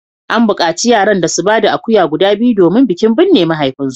An bukaci yaran da su ba da akuya guda biyu domin bikin binne mahaifinsu